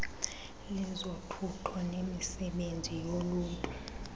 lezothutho nemisebenzi yoluntu